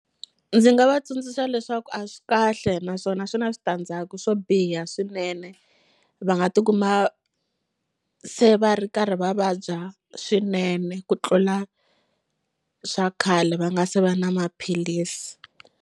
Ndzi nga va tsundzuxa leswaku a swi kahle naswona swi na switandzhaku swo biha swinene va nga tikuma se va ri karhi va vabya swinene ku tlula swa khale va nga se va na maphilisi.